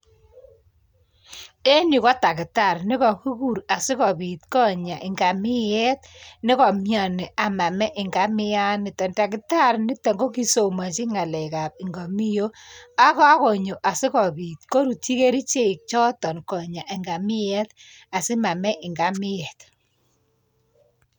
En yu kk takitarii nekokiguur asikobiit konyaa ngamiet nekomioni, amamee ngamiet. Takitari nitok kokisomonyii ngalekab ngamiok, akakonyo asikobiit korutyi kerichek choton sikonya ngamiet asimamee ngamiet.